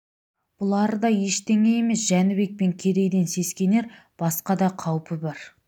бұлары да ештеңе емес жәнібек пен керейден сескенер басқа да қаупі бар